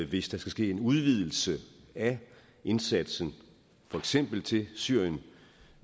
hvis der skal ske en udvidelse af indsatsen for eksempel til syrien